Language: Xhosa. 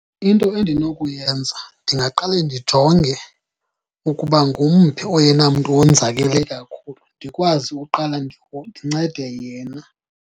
Into endinokuyenza ndingaqale ndijonge ukuba ngumphi oyena mntu wonzakele kakhulu ndikwazi uqala ndincede yena.